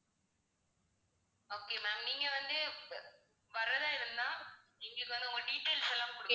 okay ma'am நீங்க வந்து வ~ வர்றதா இருந்தா எங்களுக்கு வந்து உங்க details எல்லாம் கொடுங்க